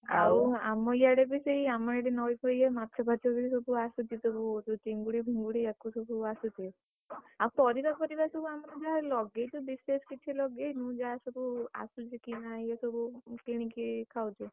ଆଉ ଆମ ଇଆଡେ ବି ସେଇ ଆମରି ନଇ ଫଇ ଇଏ ମାଛ ଫାଛ ବି ସବୁ ଆସୁଛି ସବୁ ଯୋଉ ଚିଙ୍ଗୁଡି ଫିଙ୍ଗୁଡି ଆକୁସବୁ ଆସୁଛି। ଆଉ ପରିବା ଫରିବା ସବୁ ଆମର ଯାହା ଲଗେଇଛୁ ବିଶେଷ କିଛି ଲଗେଇନୁ ଯାହା ସବୁ ଆସୁଛି କିଣାଇଏ ସବୁ କିଣିକି ଖାଉଛୁ।